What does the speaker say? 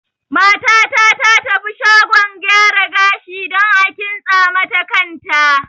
Mata ta ta tafi shagon gyara gashi dan a kintsa mata kan ta